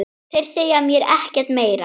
Þeir segja mér ekkert meira.